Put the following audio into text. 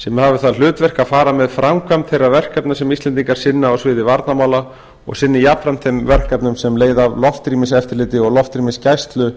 sem hafi það hlutverk að fara með framkvæmd þeirra verkefna sem íslendingar sinna á sviði varnarmála og sinni jafnframt þeim verkefnum sem leiða af loftrýmiseftirliti og loftrýmisgæslu